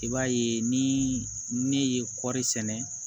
I b'a ye ni ne ye kɔɔri sɛnɛ